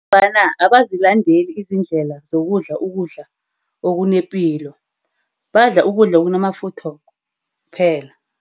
Ngombana abazilandeleli izindlela zokudla ukudla okunepilo. Badla ukudla okunamafutha kuphela.